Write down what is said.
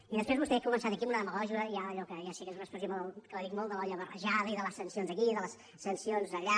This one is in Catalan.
i després vostè ha començat aquí amb una demagògia ja allò que ja sé que és una expressió que la dic molt de l’olla barrejada i de les sancions aquí i de les sancions allà